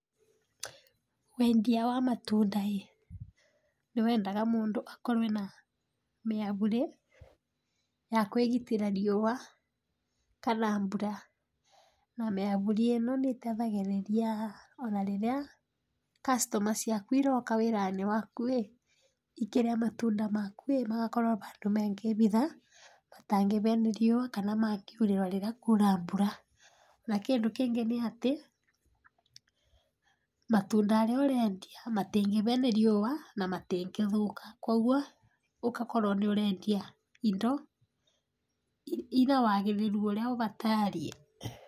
Wendia wa matunda ĩ, nĩ wendaga mũndũ akorwe na mĩaburĩ, ya kwĩgitĩra riũa kana mbura, na mĩaburi ĩno nĩtethagĩrĩria ona rĩrĩa customer ciaku iroka wĩranĩ waku ĩ ikĩrĩa matunda maku ĩ magakorwa handũ mangĩhitha, matangĩhĩa nĩ riũa kana mangiũrĩrwa rĩrĩa kũna mbura, na kĩndũ kĩngĩ nĩ atĩ, matunda arĩa ũrendia matĩngĩhĩa nĩ riũa na matingĩthũka, koguo ũgakora nĩ ũrendia indo inawagĩrĩru ũrĩa wabatarie.